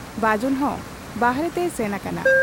ᱵᱟᱹᱡᱩᱱ ᱦᱚᱸ ᱵᱟᱦᱨᱮ ᱛᱮᱭ ᱥᱮᱱ ᱟᱠᱟᱱᱟ ᱾